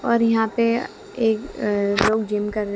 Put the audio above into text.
और यहां पे एक लोग जिम कर रहे--